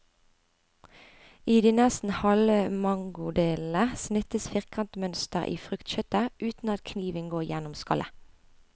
I de nesten halve mangodelene snittes firkantmønster i fruktkjøttet, uten at kniven går gjennom skallet.